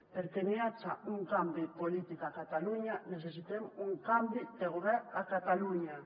perquè n’hi haja un canvi polític a catalunya necessitem un canvi de govern a catalunya